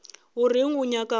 o reng o nyaka go